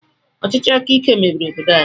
Ọchịchị akaike mebiri obodo anyị.